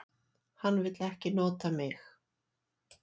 Hann vill ekki nota mig.